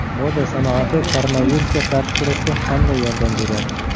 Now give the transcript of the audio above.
Moda sanoati koronavirusga qarshi kurashda qanday yordam beryapti?